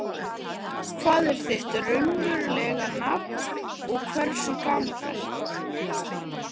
Hvað er þitt raunverulega nafn og hversu gamall ertu?